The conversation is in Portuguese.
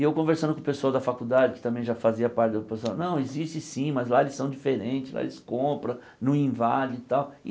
E eu conversando com o pessoal da faculdade, que também já fazia parte do pessoal, não, existe sim, mas lá eles são diferentes, lá eles compra, não invade e tal.